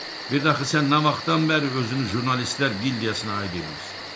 Birdə axı sən nə vaxtdan bəri özünü jurnalistlər gildiyasına aid edirsən?